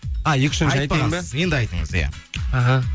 енді айтыңыз иә іхі